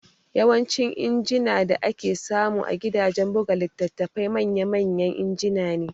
Yawancin injina da ake samu a gidajen buga litattafai manya manya injina ne